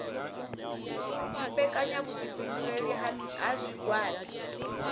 u dumbekanya vhuifhinduleli ha zwigwada